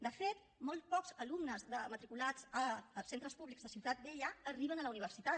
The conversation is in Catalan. de fet molt pocs alumnes matriculats a centres públics de ciutat vella arriben a la universitat